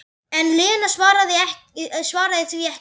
En Lena svaraði því ekki.